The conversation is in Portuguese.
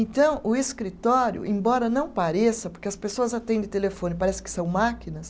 Então, o escritório, embora não pareça, porque as pessoas atendem telefone, parece que são máquinas,